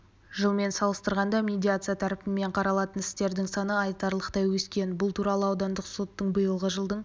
жылмен салыстырғанда медиация тәртібімен қаралатын істердің саны айтарлықтай өскен бұл туралы аудандық соттың биылғы жылдың